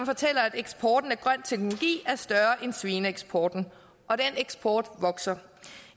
eksporten af grøn teknologi er større end svineeksporten og den eksport vokser